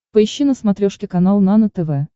поищи на смотрешке канал нано тв